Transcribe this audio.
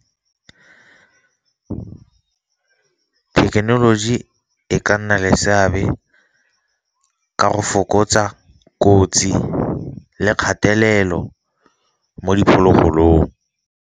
Thekenoloji e ka nna le seabe ka go fokotsa kotsi le kgatelelo mo diphologolong.